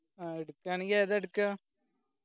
ആ എടുക്കാണെങ്കി ഏതാ എട്ക്ക